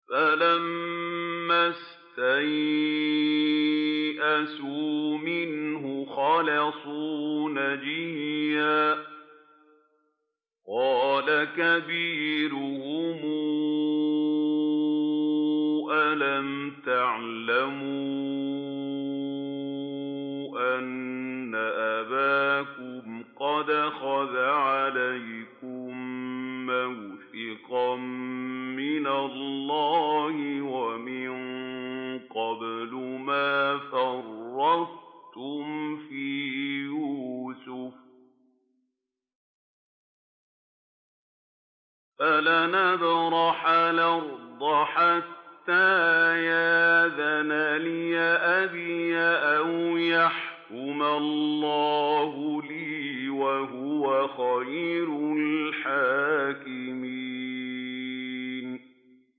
فَلَمَّا اسْتَيْأَسُوا مِنْهُ خَلَصُوا نَجِيًّا ۖ قَالَ كَبِيرُهُمْ أَلَمْ تَعْلَمُوا أَنَّ أَبَاكُمْ قَدْ أَخَذَ عَلَيْكُم مَّوْثِقًا مِّنَ اللَّهِ وَمِن قَبْلُ مَا فَرَّطتُمْ فِي يُوسُفَ ۖ فَلَنْ أَبْرَحَ الْأَرْضَ حَتَّىٰ يَأْذَنَ لِي أَبِي أَوْ يَحْكُمَ اللَّهُ لِي ۖ وَهُوَ خَيْرُ الْحَاكِمِينَ